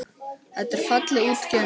Þetta er fallega útgefin bók.